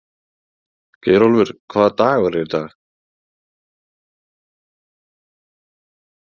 Geirólfur, hvaða dagur er í dag?